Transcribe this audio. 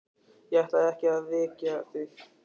Ég ætlaði ekki að vekja þig.